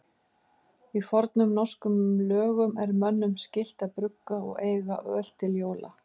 Í fornum norskum lögum er mönnum skylt að brugga og eiga öl til jóla.